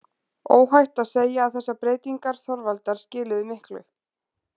Óhætt að segja að þessar breytingar Þorvaldar skiluðu miklu.